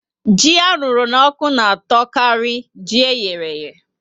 Ji arụrụ n'oku na atọ kari ji eyereye